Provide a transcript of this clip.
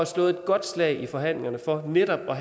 slået et godt slag i forhandlingerne for netop at